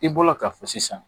I bɔra ka fɔ sisan